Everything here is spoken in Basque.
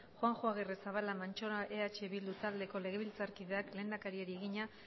juanjo agirrezabala mantxola eh bildu taldeko legebiltzarkideak lehendakariari egina